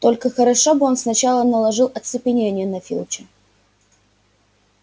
только хорошо бы он сначала наложил оцепенение на филча